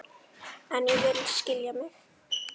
En ég vil skilja mig.